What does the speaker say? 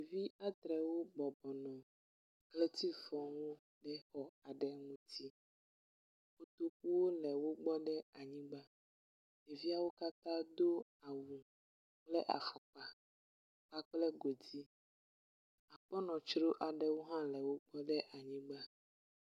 Ɖevi adrewo bɔbɔnɔ ʋletiwo ŋu le exɔ ŋuti, kotokuwo le wogbɔ ɖe anyigba, ɖeviawo katã do awu kple afɔkpa kpakple godui, akpɔnɔtro aɖewo hã le wogbɔ le anyigba